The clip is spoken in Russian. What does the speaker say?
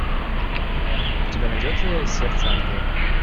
у тебя найдется сердце ангела